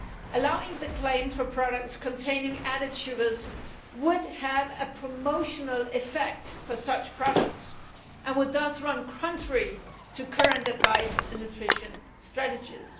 Allowing the claim for products containing added sugars would have a promotional effect for such products and would thus run contrary to current advice on nutrition strategies.